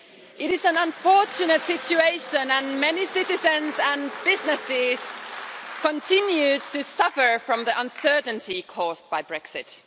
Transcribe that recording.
It is an unfortunate situation and many citizens and businesses continue to suffer from the uncertainty caused by Brexit.